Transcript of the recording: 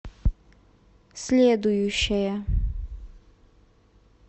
следующая